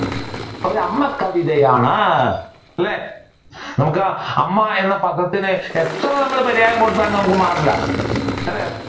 ഒരു അമ്മ കവിതയാണ് അല്ലെ നമ്മുക്ക് അമ്മ എന്ന പദത്തിന് എത്ര നമ്മൾ പര്യായം കൊടുത്താലും നമുക്ക് മാറൂല അല്ലെ